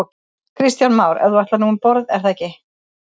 Kristján Már: En þú ætlar nú um borð er það ekki?